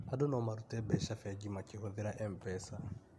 Andũ no marute mbeca bengi makĩhũthĩra MPESA